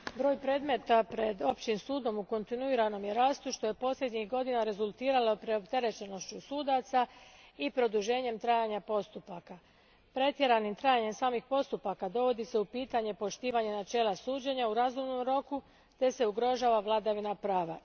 Gospodine predsjedniče, broj predmeta pred općim sudom u kontinuiranom je rastu što je posljednjih godina rezultiralo preopterenošću sudaca i produženjem trajanja postupaka. Pretjeranim trajanjem samih postupaka dovodi se u pitanje poštivanje načela suđenja u razumnom roku te se ugrožava vladavina prava.